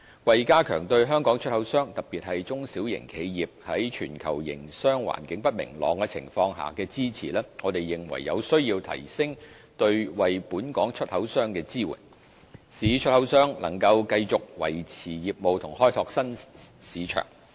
為加強對香港出口商，特別是中小型企業，在全球營商環境不明朗的情況下的支持，我們認為有需要提升對本港出口商的支援，使出口商能夠繼續維持業務及開拓新市場。